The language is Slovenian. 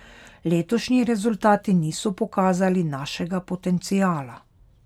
Letošnji rezultati niso pokazali našega potenciala.